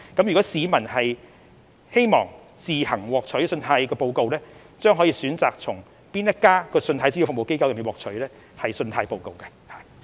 如果市民希望自行索取信貸報告，將可選擇向哪一家信貸資料服務機構索取信貸報告。